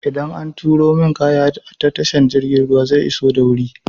Idan an turo min kaya ta tashar jirgin ruwa zai iso da wuri?